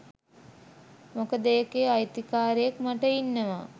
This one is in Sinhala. මොකද ඒකේ අයිතිකාරයෙක් මට ඉන්නවා